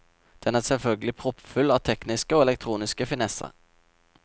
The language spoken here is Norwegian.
Den er selvfølgelig proppfull av tekniske og elektroniske finesser.